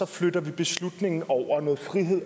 flytter vi beslutningen og noget frihed